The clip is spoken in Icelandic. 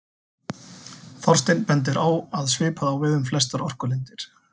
Þorsteinn bendir á að svipað á við um flestar orkulindir.